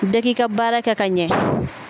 Bɛɛ k'i ka baara kɛ ka ɲɛ.